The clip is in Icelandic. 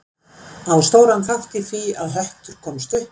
Á stóran þátt í því að Höttur komst upp.